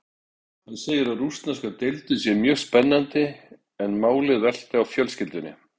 Hann segir að rússneska deildin sé mjög spennandi en málin velti á fjölskyldunni.